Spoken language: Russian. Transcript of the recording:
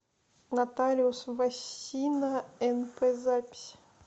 нотариус васина нп запись